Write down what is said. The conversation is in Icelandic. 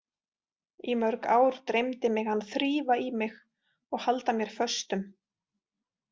Í mörg ár dreymdi mig hann þrífa í mig og halda mér föstum.